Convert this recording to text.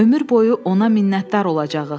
Ömür boyu ona minnətdar olacağıq.